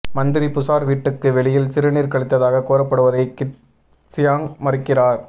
மந்திரி புசார் வீட்டுக்கு வெளியில் சிறுநீர் கழித்ததாக கூறப்படுவதை கிட் சியாங் மறுக்கிறார்